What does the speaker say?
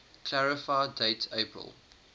clarify date april